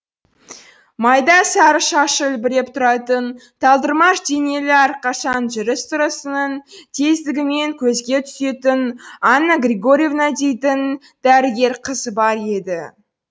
майда сары шашы үлбіреп тұратын талдырмаш денелі әрқашан жүріс тұрысының тездігімен көзге түсетін анна григорьевна дейтін дәрігер қыз бар еді